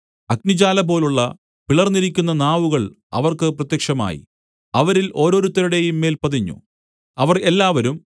അഗ്നിജ്വാലപോലുള്ള പിളർന്നിരിക്കുന്ന നാവുകൾ അവർക്ക് പ്രത്യക്ഷമായി അവരിൽ ഓരോരുത്തരുടെയും മേൽ പതിഞ്ഞു അവർ എല്ലാവരും